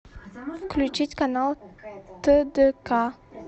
включить канал тдк